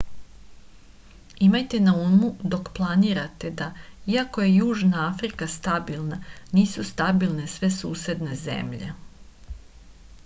imajte na umu dok to planirate da iako je južna afrika stabilna nisu stabilne sve susedne zemlje